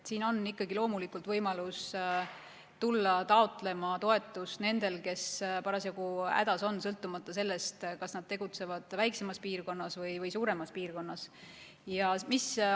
Siin on loomulikult võimalus tulla taotlema toetust nendel, kes parasjagu hädas on, sõltumata sellest, kas nad tegutsevad väiksemas piirkonnas või suuremas piirkonnas.